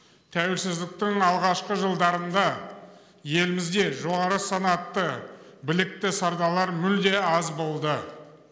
тәуелсіздіктің алғашқы жылдарында елімізде жоғары санатты білікті сардарлар мүлде аз болды